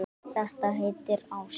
Þetta heitir ást.